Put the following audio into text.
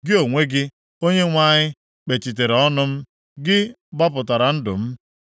Gị onwe gị, Onyenwe anyị, kpechitere ọnụ m, gị gbapụtara ndụ m.